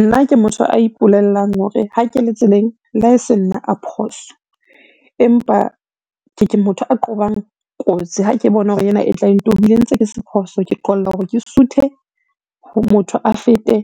Nna ke motho a ipulellang hore ha ke le tseleng, le ha e se nna a phoso. Empa ke motho a qobang kotsi ha ke bona hore ena e tla e ntobile ntse ke se phoso, ke qolla hore ke suthe motho a fete.